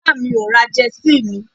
baba mi ni o ra Jersey mi